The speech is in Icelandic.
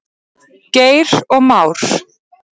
Geir og Már.